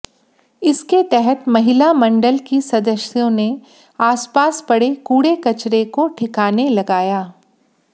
इसके तहत महिला मंडल की सदस्यों ने आसपास पडे़ कूडे़ कचरे को ठिकाने लगाया